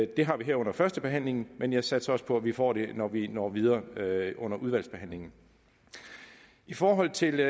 det har vi her under førstebehandlingen men jeg satser også på at vi får det når vi når videre under udvalgsbehandlingen i forhold til